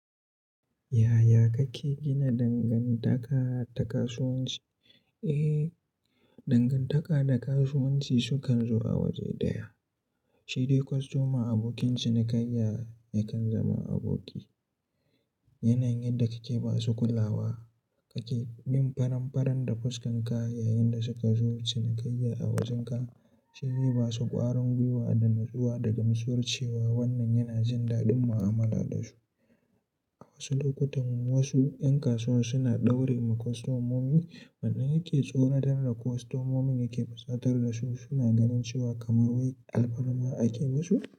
Yaya kake gina dangantaka da kasuwanci? Eh, dangantaka da kasuwanci sukan zo a waje ɗaya. Shi dai kwastoma abokin cinikayya yakan zama aboki. Yanayin yadda kake ba su kulawa, kake bin faranfaran da fuskan ka yayin da suka zo cinikayya a wajenka shize ba su ƙwarin gwuiwa da nutsuwa da gamsuwar cewa wannan yana jin daɗin mu'amala da su. A wasu lokutan wasu 'yan kasuwan suna daure ma kwastomomi. Wannan yake tsoratar da kwastomomin yake fusatar da su suna ganin cewa kamar wai alfarma ake musu.